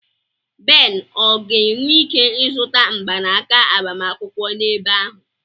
Ben ọ ga-enwe ike ịzụta mgbanaka agbamakwụkwọ n'ebe ahụ?